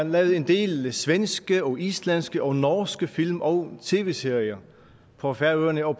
lavet en del svenske islandske og norske film og tv serier på færøerne og